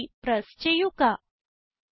Enter key press ചെയ്യുക